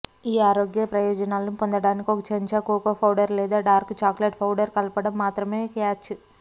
ఈ ఆరోగ్య ప్రయోజనాలను పొందడానికి ఒక చెంచా కోకో పౌడర్ లేదా డార్క్ చాక్లెట్ పౌడర్ కలపడం మాత్రమే క్యాచ్